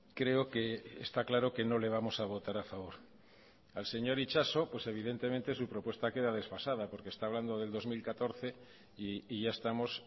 creo que está claro que no le vamos a votar a favor al señor itxaso pues evidentemente su propuesta queda desfasada porque está hablando del dos mil catorce y ya estamos